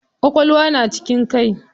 Ƙwaƙwalwa na cikin kai.